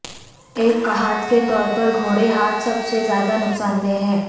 ایک کھاد کے طور پر گھوڑے ھاد سب سے زیادہ نقصان دہ ہے